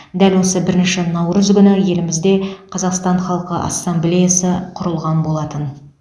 дәл осы бірінші наурыз күні елімізде қазақстан халқы ассамблеясы құрылған болатын